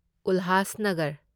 Ulhasnagar